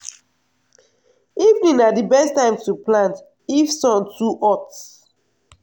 evening na d best time to plant if sun too hot.